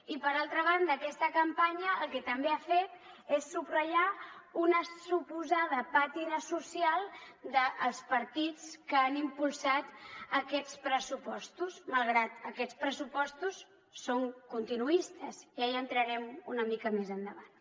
i per altra banda aquesta campanya el que també ha fet és subratllar una suposada pàtina social dels partits que han impulsat aquests pressupostos malgrat que aquests pressupostos són continuistes ja hi entrarem una mica més endavant